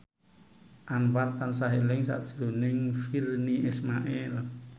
Anwar tansah eling sakjroning Virnie Ismail